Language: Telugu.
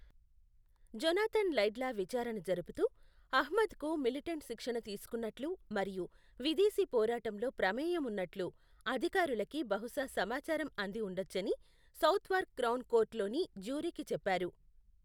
జొనాథన్ లైడ్లా విచారణ జరుపుతూ, అహ్మద్కు మిలిటెంట్ శిక్షణ తీసుకున్నట్లు మరియు విదేశీ పోరాటంలో ప్రమేయం ఉన్నట్లు అధికారులకి బహుశా సమాచారం అంది ఉండొచ్చని సౌత్వార్క్ క్రౌన్ కోర్ట్లోని జ్యూరీకి చెప్పారు.